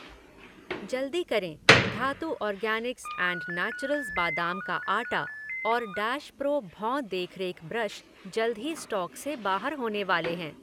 जल्दी करें, Dhatu organics and naturals बादाम का आटा और डैश प्रो भौं देखरेख ब्रश जल्द ही स्टॉक से बाहर होने वाले हैं